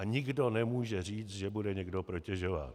A nikdo nemůže říct, že bude někdo protežován.